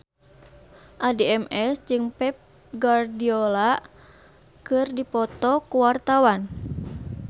Addie MS jeung Pep Guardiola keur dipoto ku wartawan